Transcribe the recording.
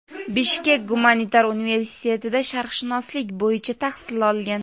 Bishkek gumanitar universitetida sharqshunoslik bo‘yicha tahsil olgan.